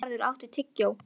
Geirharður, áttu tyggjó?